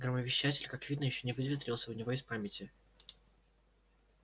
громовещатель как видно ещё не выветрился у него из памяти